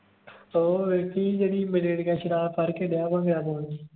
ਉਹ ਵੇਖੀ ਜਿਹੜੀ ਮੇਰੀ ਸ਼ਰਾਬ ਫੜ ਕੇ ਦਿਆ ਆ ਮੇਰਾ